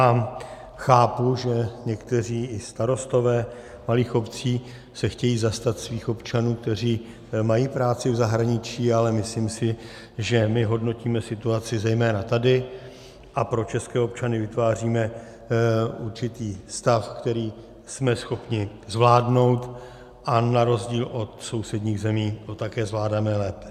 A chápu, že někteří i starostové malých obcí se chtějí zastat svých občanů, kteří mají práci v zahraničí, ale myslím si, že my hodnotíme situaci zejména tady a pro české občany vytváříme určitý stav, který jsme schopni zvládnout, a na rozdíl od sousedních zemí to také zvládáme lépe.